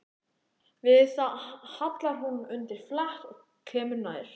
Við það hallar hún undir flatt og kemur nær.